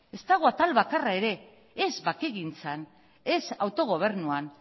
ez dago atal bakarra ere ez bakegintzan ez autogobernuan